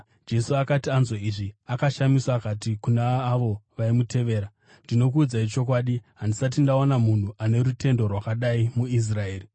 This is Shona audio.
Jesu akati anzwa izvi, akashamiswa akati kuna avo vaimutevera, “Ndinokuudzai chokwadi, handisati ndaona munhu ane rutendo rwakadai muIsraeri.